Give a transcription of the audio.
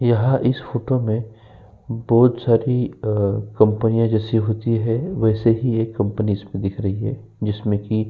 यहाँ इस फोटो में बहौत सारी कंपनियां जैसे होती है वैसे ही एक कंपनी इसमें दिख रही है जिसमे की --